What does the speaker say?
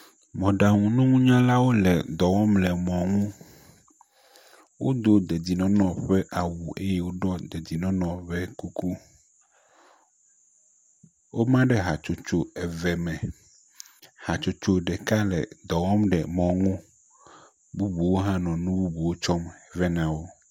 Mɔɖaŋununyalwo le edɔ wɔm le emɔa ŋu. Wodo dedienɔnɔ ƒe awu eye woɖɔ dedienɔnɔ ƒe kuku. Woma ɖe hatsotso eve me. Hatsotso ɖeka le edɔ wɔm le mɔ nu.